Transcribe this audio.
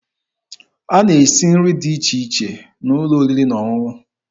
A na-esi nri dị iche iche n'ụlọ oriri na ọṅụṅụ.